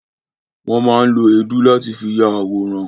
Won má ń lo èédú láti fi ya àwòrán